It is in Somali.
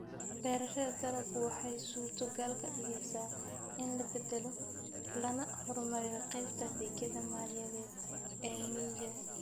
Beerashada dalaggu waxay suurtogal ka dhigaysaa in la beddelo lana horumariyo qaybta adeegyada maaliyadeed ee miyiga.